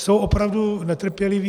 Jsou opravdu netrpěliví.